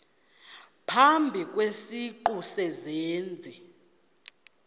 phambi kwesiqu sezenzi